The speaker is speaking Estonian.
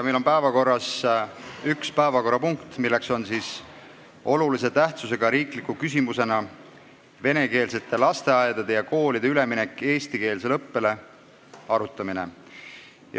Meil on päevakorras üks päevakorrapunkt, milleks on olulise tähtsusega riikliku küsimuse "Venekeelsete lasteaedade ja koolide üleminek eestikeelsele õppele" arutamine.